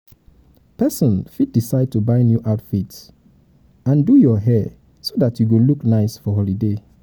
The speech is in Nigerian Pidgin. um persin fit decide to buy new outfits and um do your um hair so that you go you go look nice for holiday